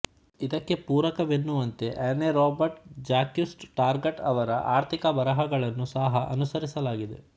ಇದಕ್ಕೆ ಪೂರಕವೆನ್ನುವಂತೆ Anne Robert Jacques Turgot ಅವರ ಆರ್ಥಿಕ ಬರಹಗಳನ್ನು ಸಹ ಅನುಸರಿಸಲಾಗಿದೆ